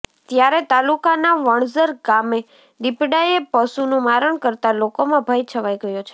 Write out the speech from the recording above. ત્યારે તાલુકાના વણઝર ગામે દીપડાએ પશુનુ મારણ કરતાં લોકોમાં ભય છવાઈ ગયો છે